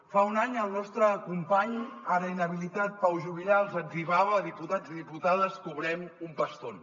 fa un any el nostre company ara inhabilitat pau juvillà els etzibava diputats i diputades cobrem un pastón